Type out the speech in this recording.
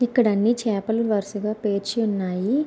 ఇక్కడ అన్ని చేపలు వరుసగా పేర్చి ఉన్నాయి.